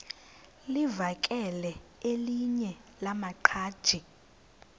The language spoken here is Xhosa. livakele elinye lamaqhaji